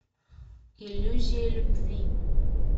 иллюзия любви